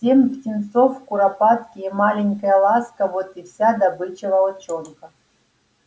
семь птенцов куропатки и маленькая ласка вот и вся добыча волчонка